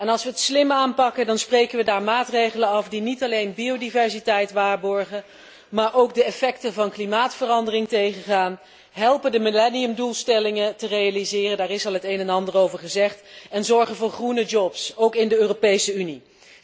Als we het slim aanpakken, dan spreken we daar maatregelen af die niet alleen biodiversiteit waarborgen, maar ook de effecten van klimaatverandering tegengaan, de millenniumdoelstellingen helpen realiseren daar is al het een en ander over gezegd en zorgen voor groene banen, ook in de Europese Unie.